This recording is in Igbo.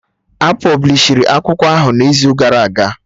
A pọblishi akwụkwọ ahụ n'izu gara aga